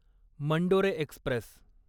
Mandore Express